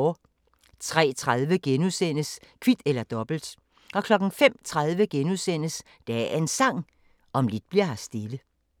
03:30: Kvit eller Dobbelt * 05:30: Dagens Sang: Om lidt bli'r her stille *